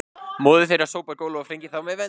Móðir þeirra sópar gólf og flengir þá með vendi